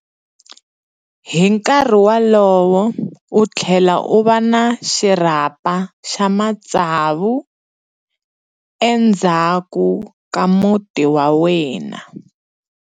Hi nkarhi wolowo u tlhele u va na xirhapa xa matsavu endzhaku ka muti wa yena.